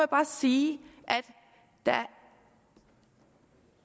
bare sige at